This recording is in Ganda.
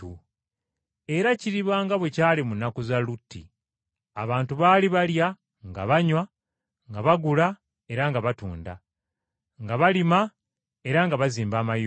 “Era kiriba nga bwe kyali mu nnaku za Lutti. Abantu baali balya nga banywa, nga bagula era nga batunda, nga balima era nga bazimba amayumba,